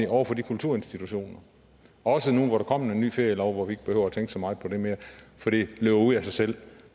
over for de kulturinstitutioner også nu hvor der kommer en ny ferielov hvor vi ikke behøver at tænke så meget på det mere fordi det løber ud af sig selv